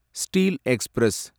steel express